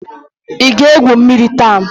Ị ga-egwu mmiri taa?